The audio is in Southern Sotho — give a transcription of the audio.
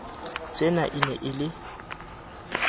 tsena e ne e le